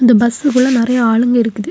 இந்த பஸ் குள்ள நிறைய ஆளுங்க இருக்குது.